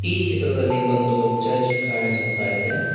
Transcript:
ಈ ಚಿತ್ರದಲ್ಲಿ ಒಂದು ಚರ್ಚ್ ಕಾಣಿಸುತ್ತಾ ಇದೆ.